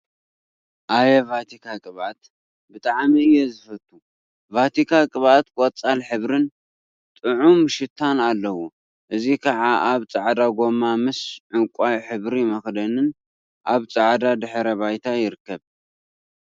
አየ! ቫቲካ ቅብአት ብጣዕሚ እየ ዝፈቱ፡፡ ቫቲካ ቅብአት ቆፃል ሕብሪን ጥዑም ሽታን አለዎ፡፡ እዚ ከዓ አብ ፃዕዳ ጎማ ምስ ዕንቋይ ሕብሪ መክደንን አብ ፃዕዳ ድሕረ ባይታ ይርከብ፡፡